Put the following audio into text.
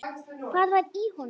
Hvað var í honum?